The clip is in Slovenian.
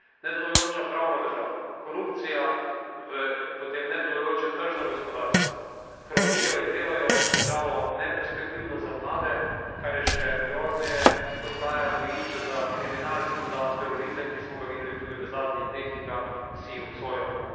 Nedelujoča pravna država, korupcija v potem nedelujoče tržno gospodarstvo hromijo in delajo državo neperspektivno za mlade, kar je še grozneje, postaja gojišče za kriminal in za terorizem, ki smo ga videli tudi v zadnjih dneh in ga vsi obsojamo.